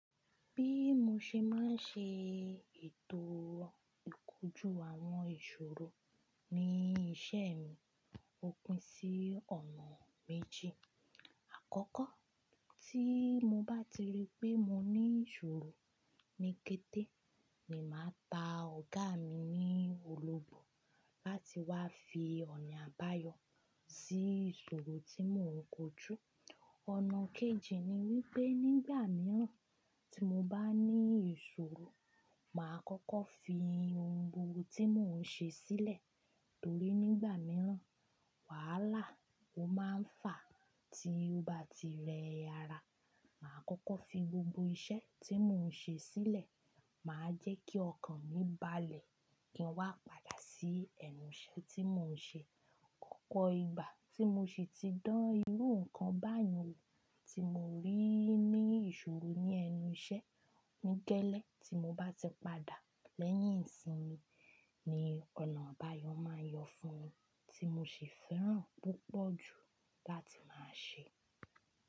Bí mo ṣe máa ń ṣe ètò ìkójú àwọn ìṣòro ní iṣẹ́ mi, òpin sí ọ̀nà méjì. Àkọ́kọ́ tí mo bá ti rí pé mo ní ìṣòro ní kété, ni màá ta ọ̀gá mi ní olòbò láti wá fi ọ̀nà àbáyọ sí ìṣòro tí mò ń kojú. Ọ̀nà kejì ni wípé nígbà mìíràn tí mo bá ní ìṣòro, màá kọ́kọ́ fi ohun gbogbo tí mò ń ṣe sílẹ̀. Torí nígbà mìíràn, wàhálà ó máa ń fà tí ó bá ti rẹ ara. Màá kọ́kọ́ fi gbogbo iṣẹ́ tí mò ń ṣe sílẹ̀. Màá jẹ́ kí ọkàn mi balẹ̀ kí n wá padà sí ẹnu iṣẹ́ tí mò ń ṣe. Opo ìgbà tí mo sì ti dán irú nǹkan báyẹn wò tí mo rí ní ìṣòro ní ẹnu iṣẹ́. Ní geẹlẹ ti mo bá ti padà lẹ́yìn ìsinmi ni ọ̀nà àbáyọ̀ máa ń yọ fún mi tí mo sì fẹ́ràn púpọ̀ ju láti máa ṣe.